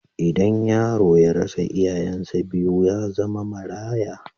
Idan yaro ya rasa iyayensa biyu, ya zama maraya.